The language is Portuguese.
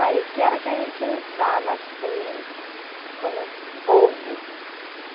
Aí, o que era que a gente usava, assim, como fogo?